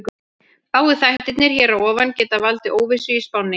Báðir þættirnir hér að ofan geta valdið óvissu í spánni.